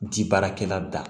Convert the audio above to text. Di baarakɛla da